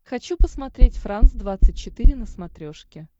хочу посмотреть франс двадцать четыре на смотрешке